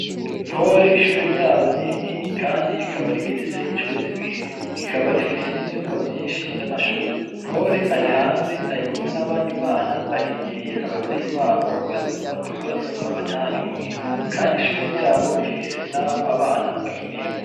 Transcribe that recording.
Ntore ishure ryabo ni rinini kandi rikaba rigeretse incuro zibiri, rikaba rifise n'ivyumba vyinshi vy'amashure, Ntore ari hanze arikumwe n'abandi bana barindiriye abavyeyi babo ngo baze kubatora babatahane muhira, kandi ishure ryabo rifise n'aho abana bakinira.